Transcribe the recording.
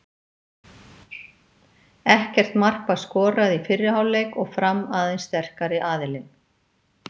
Ekkert mark var skorað í fyrri hálfleik og Fram aðeins sterkari aðilinn.